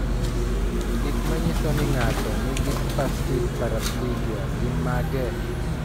Gik manyiso ni ng'ato nigi spastic paraplegia gin mage?